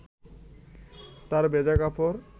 তাঁর ভেজা কাপড়